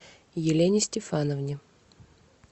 елене стефановне